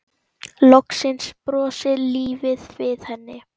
Loksins brosir lífið við henni.